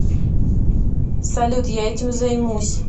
салют я этим займусь